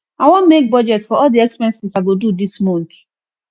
i wan make budget for all the expenses i go do dis month